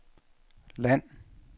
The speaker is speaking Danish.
land